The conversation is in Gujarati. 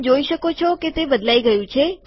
તમે જોઈ શકો છો કે તે બદલાઈ ગયું છે